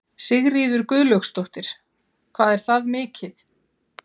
Sigríður Guðlaugsdóttir: Hvað er það mikið?